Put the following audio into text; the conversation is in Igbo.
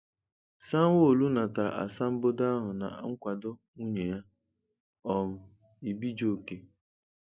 Sanwo-Olu natara asambodo ahụ na nkwado nwunye ya, um Ibijoke.